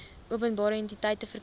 openbare entiteite verkry